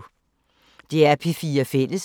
DR P4 Fælles